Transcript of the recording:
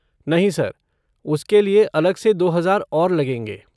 नहीं सर, उसके लिए अलग से दो हज़ार और लगेंगे।